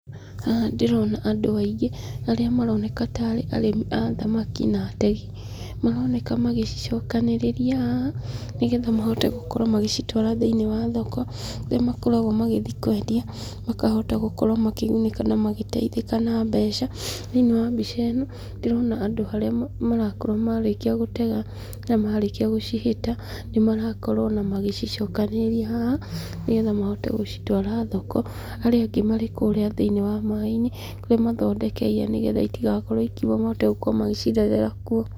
Haha ndĩrona andũ aingĩ, arĩa maroneka tarĩ arĩmi a thamaki na ategi, maroneka magĩcicokanĩrĩria haha, nĩgetha mahote gũkorwo magĩcitwara thĩiniĩ wa thoko, irĩa makoragwo magĩthiĩ kwendia, makahota gũkorwo makĩgunĩka na magĩteithĩka na mbeca. Thĩiniĩ wa mbica ĩno, ndĩrona andũ arĩa marakorwo marĩkia gũtega na marĩkia gũcihĩta, nĩ marakorwo ona magĩcicokanĩrĩria haha, nĩgetha mahote gũcitwara thoko, arĩa angĩ marĩ kũrĩa thĩiniĩ wa maĩ-inĩ, kũrĩa mathondekeire nĩgetha itigakorwo ikiuma mahote gũkorwo magĩcirerera kuo.